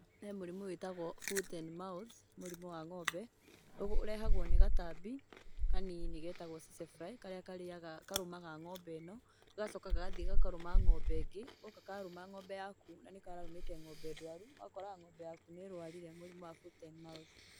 He mũrimũ wĩtagwo foot and mouth mũrimũ wa ng'ombe ũrehagwo nĩ gatambi kanini getagwo tsetsefly karĩa karĩaga, karũmaga ng'ombe ĩno gagacoka gagathiĩ gakarũma ng'ombe ĩngĩ. Goka karũma ng'ombe yaku na nĩ kararũmĩte ng'ombe ndwaru, ũgakoraga ng'ombe yaku nĩ irwarire mũrimu wa foot and mouth.